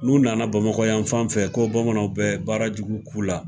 N'u nana bamakɔ yan fan fɛ ko bamananw bɛ baara jugu k'u la.